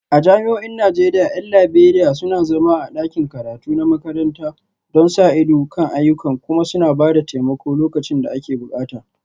A jami'o'in Najeriya 'yan Liberiya suna zama a ɗakin karatu na makaranta don sa ido kan ayyukan kuma suna ba da taimako lokacin da ake bukata